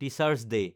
teacher's day